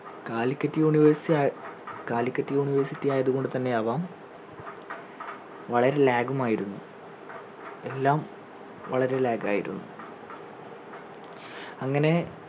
Calicut university ആ Calicut university ആയത്‌ കൊണ്ട് തന്നെ ആവാം വളരെ lag ഉം ആയിരുന്നു എല്ലാം വളരെ lag ആയിരുന്നു അങ്ങനെ